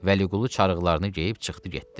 Vəliqulu çarıqlarını geyib çıxdı getdi.